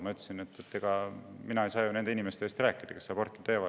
Ma ütlesin, et ega mina ju ei saa nende inimeste eest rääkida, kes aborti teevad.